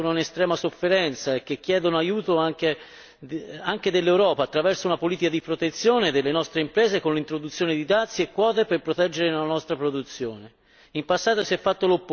Si tratta di realtà che ora sono in estrema sofferenza e che chiedono aiuto anche all'Europa, anche attraverso una politica di protezione delle nostre imprese con l'introduzione di dazi e quote per proteggere la nostra produzione.